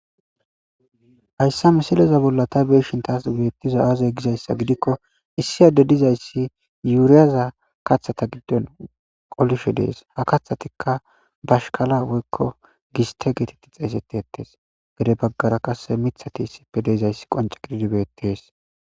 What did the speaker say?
hayssa misileza bolla ta beeshin taas beettiza aazey gizayssa gidikko issi adde dizayssi yuuriyaza kaththata giddon qolishe dees ha kathatikka bashkala woykko giste geetetti xeesetti ettes gede baggara qasse mithati issipfe deezayssi qonce gididibeettees